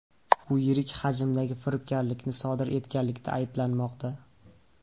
U yirik hajmdagi firibgarlikni sodir etganlikda ayblanmoqda.